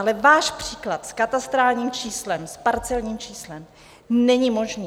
Ale váš příklad s katastrálním číslem, s parcelním číslem není možný.